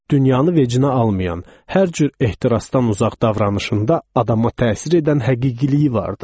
Dünyanı vecinə almayan, hər cür ehtirasdan uzaq davranışında adama təsir edən həqiqilik vardı.